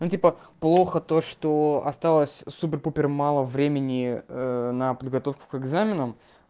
ну типа плохо то что осталось супер-пупер мало времени на подготовку к экзаменам